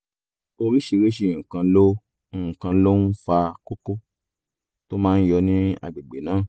oríṣiríṣi nǹkan ló nǹkan ló ń fa kókó tó máa ń yọ ní àgbègbè náà